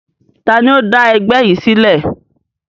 Taàní ó dá ẹgbẹ́ yìí sílẹ̀?